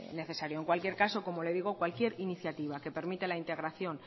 necesario en cualquier caso como le digo cualquier iniciativa que permita la integración